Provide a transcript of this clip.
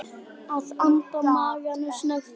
Ég anda maganum snöggt inn.